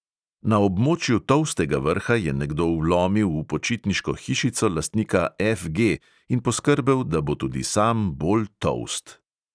Na območju tolstega vrha je nekdo vlomil v počitniško hišico lastnika F G in poskrbel, da bo tudi sam bolj tolst.